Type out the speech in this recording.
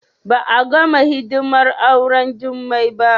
Ba a gama hidimar auren Jummai ba